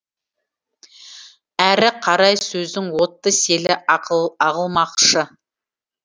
әрі қарай сөздің отты селі ағылмақшы